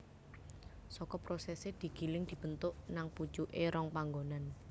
Saka prosesé digiling dibentuk nang pucuké rong panggonan